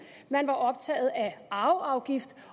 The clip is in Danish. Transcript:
man var optaget af arveafgift